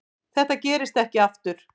Þetta gerist ekki aftur.